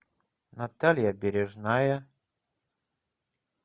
наталья бережная